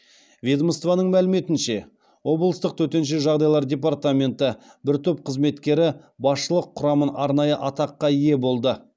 ведомствоның мәліметінше облыстық төтенше жағдайлар департаменті бір топ қызметкері басшылық құрамын арнайы атаққа ие болды